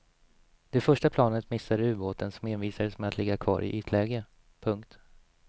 Det första planet missade ubåten som envisades med att ligga kvar i ytläge. punkt